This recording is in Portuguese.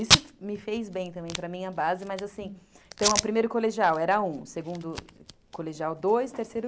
Isso me fez bem também, para mim, a base, mas assim... Então, o primeiro colegial era um, o segundo colegial dois, terceiro três.